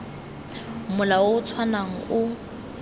mola o o tshwanang o